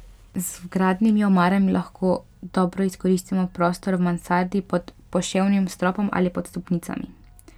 Z vgradnimi omarami lahko dobro izkoristimo prostor v mansardi pod poševnim stropom ali pod stopnicami.